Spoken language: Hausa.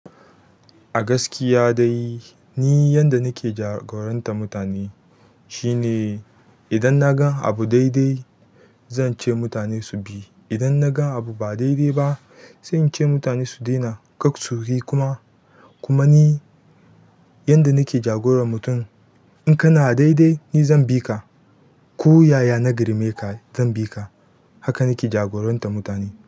A gaskiya dai ni yanda nake jagorantar mutane shine idan na ga abu dai-dai zan ce mutane su bi. Idan na ga abu ba dai-dai ba sai in ce mutane su daina, kar su yi kuma. Kuma ni yanda nake jagorar mutum, in kana dai-dai ni zan bi ka, ko yaya na girme ka zan bi ka. Haka nake jagorantar mutane.